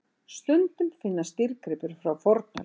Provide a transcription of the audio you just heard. Stundum finnast dýrgripir frá fornöld.